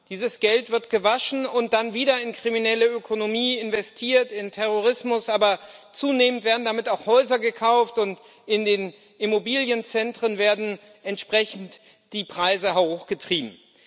Dieses Geld wird gewaschen und dann wieder in kriminelle Ökonomie investiert in Terrorismus, aber zunehmend werden damit auch Häuser gekauft, und in den Immobilienzentren werden die Preise entsprechend hochgetrieben.